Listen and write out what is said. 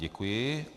Děkuji.